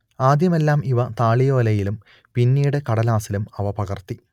ആദ്യമെല്ലാം ഇവ താളിയോലയിലും പിന്നീട് കടലാസിലും അവ പകർത്തി